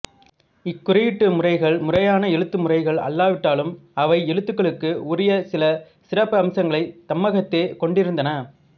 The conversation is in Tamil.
இக் குறியீட்டு முறைகள் முறையான எழுத்து முறைகள் அல்லாவிட்டாலும் அவை எழுத்துகளுக்கு உரிய சில சிறப்பம்சங்களைத் தம்மகத்தே கொண்டிருந்தன